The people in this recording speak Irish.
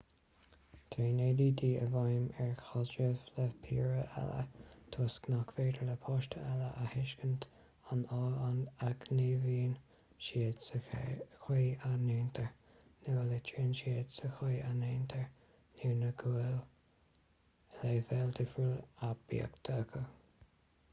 téann add i bhfeidhm ar chaidrimh le piaraí eile toisc nach féidir le páistí eile a thuiscint an fáth a ngníomhaíonn siad sa chaoi a ndéantar nó a litríonn siad sa chaoi a ndéantar nó go bhfuil leibhéal difriúil aibíochta acu